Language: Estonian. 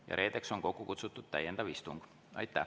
Ja reedeks on kokku kutsutud täiendav istung.